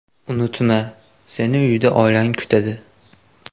Unutma, seni uyda oilang kutadi!”